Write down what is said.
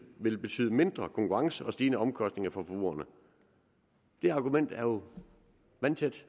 vil betyde mindre konkurrence og stigende omkostninger for forbrugerne det argument er jo vandtæt